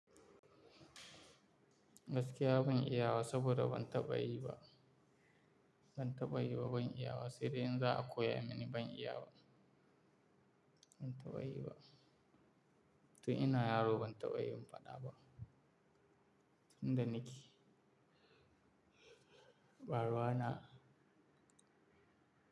Gaskiya ban iya ba saboda ban taɓa yi ba. Ban taɓa yi ba, ban iya ba. Siri in za a koya mini ban iya ba. Ban taɓa yi ba. Tun ina yaro ban taɓa yi mun faɗa ba. Tun da nake, ba ruwa na.